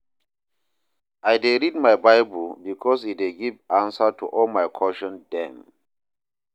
I dey read my Bible because e dey give answer to all my question dem.